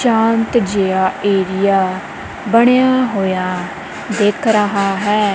ਸ਼ਾਂਤ ਜਿਹਾ ਏਰੀਆ ਬਣਿਆ ਹੋਇਆ ਦਿਖ ਰਿਹਾ ਹੈ।